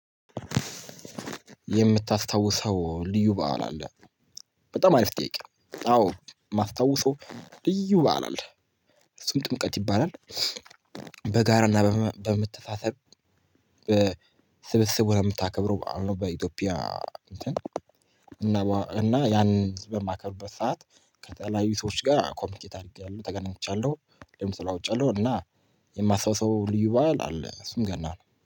የምታስታውሰው ልዩ በዓል አለ? በጣም አሪፍ ጥያቄ አዎ የማስታውሰው ልዩ በዓል አለ ይባላል ጥምቀት ይባላል በጋራና በመተሳሰብ ስብስብ ሆነ የምታከብረው በኢትዮጵያ እና ያንን በማከብርበት ሰዓት ከተለያዩ ሰዎች ጋር ኮሚኒኬት አድርጌያለሁ ተገናኝቻለሁ እንደውም ተለዋውጫለሁ እና የማስታውሰው ልዩ ባል አለ እሱም ገና ነው